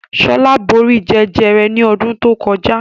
Shola bóri Jẹjẹrẹ ní odún to kojá